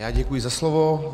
Já děkuji za slovo.